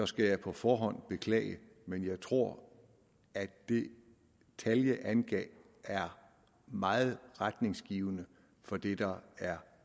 skal jeg på forhånd beklage men jeg tror at det tal jeg angav er meget retningsgivende for det der er